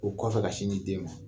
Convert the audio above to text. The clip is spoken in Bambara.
O kɔfɛ ka sin di den ma.